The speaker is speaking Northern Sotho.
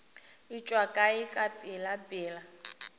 e tšwa kae ka pelapela